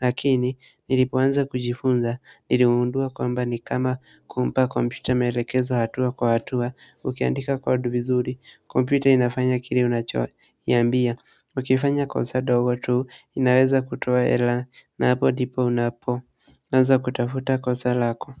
lakini nilipoanza kujifunza niligundua kwamba ni kama kumpa kompyuta maelekezo hatua kwa hatua. Ukiandika code vizuri, kompyuta inafanya kile unachoiambia, ukifanya kosa ndogo tu, inaweza kutoa error na hapo ndipo unapo unaanza kutafuta kosa lako.